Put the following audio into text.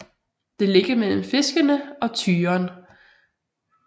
Det ligger mellem Fiskene og Tyren